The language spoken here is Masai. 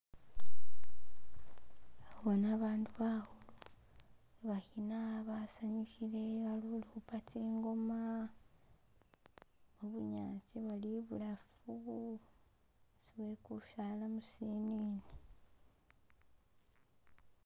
Ndihubona abandu bahuli bahina basanyuhile balihuhupa tsingoma mubunyasi bali ibulafu asi wekusaala musi ene wo